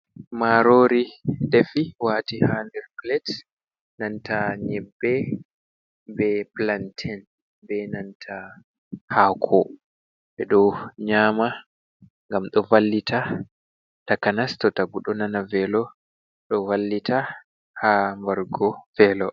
Marori defi wati ha ndir palat be nanta nyebbe, be planten, be nanta hako. Ɓe ɗo nyama gam do vallita takanas to tagum ɗo nana velo ɗo vallita ha mbargo velo.